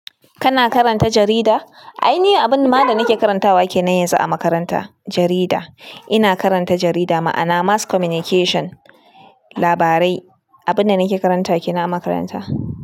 Kana karanta jarida? Ai ni abun ma da nake karantawa kenan yanzu a makaranta, jarida. Ina karanta jarida, ma'ana mass communication, labarai. Abun da nake karanta kenan a makaranta.